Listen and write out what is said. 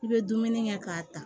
I bɛ dumuni kɛ k'a ta